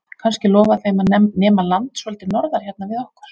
Kannski lofa þeim að nema land svolítið norðar hérna við okkur?